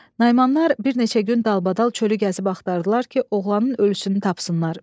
Naimanlar bir neçə gün dalbadal çölü gəzib axtardılar ki, oğlanın ölüsünü tapsınlar.